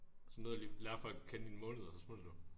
Så nåede du lige lære folk at kende i en måned og så smuttede du